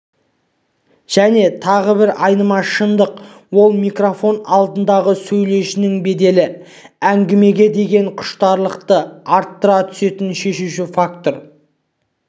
және тағы бір айнымас шындық ол микрофон алдындағы сөйлеушінің беделі әңгімеге деген құштарлықты арттыра түсетін шешуші фактор